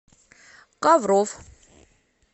ковров